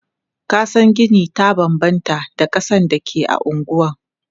Kasan gini ta banbanta da kasan da ke a anguwa.